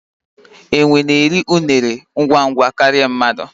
enwe na-eri unere ngwa ngwa karịa mmadụ.